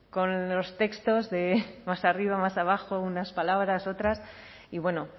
con los textos de más arriba más abajo unas palabras otras y bueno